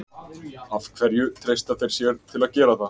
Af hverju treysta þeir sér til að gera það?